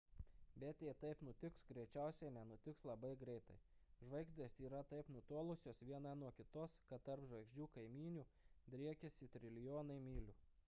bet jei taip nutiks greičiausiai nenutiks labai greitai žvaigždės yra taip nutolusios viena nuo kitos kad tarp žvaigždžių kaimynių driekiasi trilijonai mylių